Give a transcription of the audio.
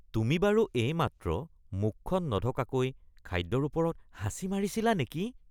তুমি বাৰু এইমাত্ৰ মুখখন নঢকাকৈ খাদ্যৰ ওপৰত হাঁচি মাৰিছিলা নেকি?